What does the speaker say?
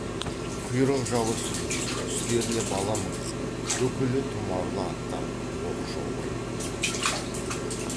құйрық жалы сүзулі үстеріне бала мінгізген үкілі тұмарлы аттар оқшау байланды